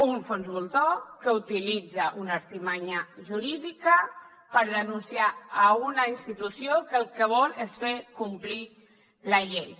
un fons voltor que utilitza una artimanya jurídica per denunciar una institució que el que vol és fer complir la llei